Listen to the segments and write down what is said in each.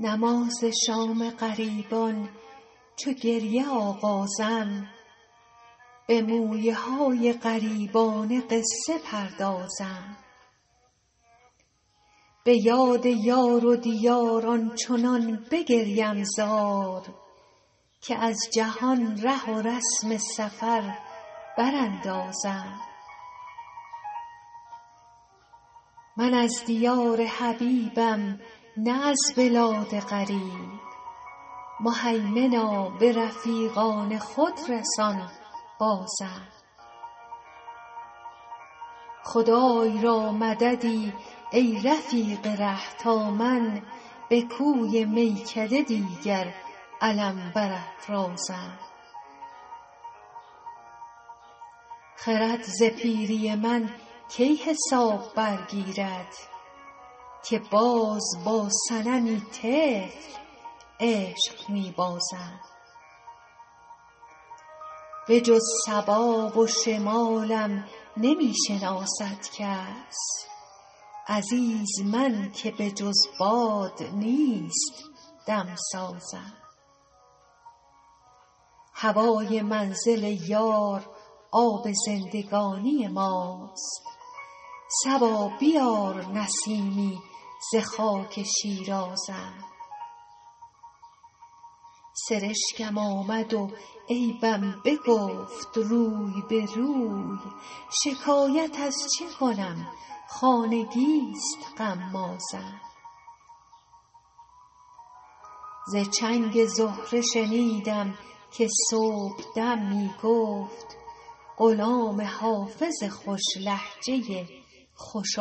نماز شام غریبان چو گریه آغازم به مویه های غریبانه قصه پردازم به یاد یار و دیار آنچنان بگریم زار که از جهان ره و رسم سفر براندازم من از دیار حبیبم نه از بلاد غریب مهیمنا به رفیقان خود رسان بازم خدای را مددی ای رفیق ره تا من به کوی میکده دیگر علم برافرازم خرد ز پیری من کی حساب برگیرد که باز با صنمی طفل عشق می بازم بجز صبا و شمالم نمی شناسد کس عزیز من که بجز باد نیست دم سازم هوای منزل یار آب زندگانی ماست صبا بیار نسیمی ز خاک شیرازم سرشکم آمد و عیبم بگفت روی به روی شکایت از که کنم خانگی ست غمازم ز چنگ زهره شنیدم که صبح دم می گفت غلام حافظ خوش لهجه خوش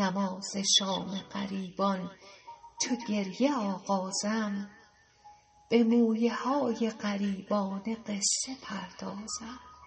آوازم